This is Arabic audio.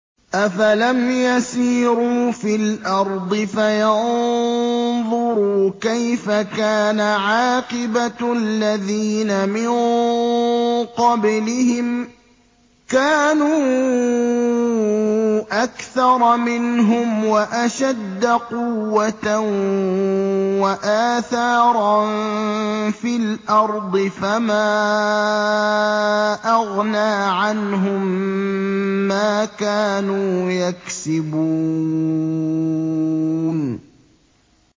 أَفَلَمْ يَسِيرُوا فِي الْأَرْضِ فَيَنظُرُوا كَيْفَ كَانَ عَاقِبَةُ الَّذِينَ مِن قَبْلِهِمْ ۚ كَانُوا أَكْثَرَ مِنْهُمْ وَأَشَدَّ قُوَّةً وَآثَارًا فِي الْأَرْضِ فَمَا أَغْنَىٰ عَنْهُم مَّا كَانُوا يَكْسِبُونَ